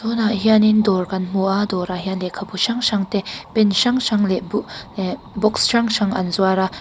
tunah hianin dawr kan hmu a dawrah hian lehkhabu hrang hrang te pen hrang hrang leh bu ehh box hrang hrang an zuar a.